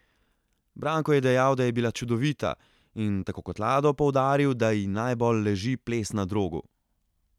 Branko je dejal, da je bila čudovita in, tako kot Lado, poudaril, da ji najbolj leži ples na drogu.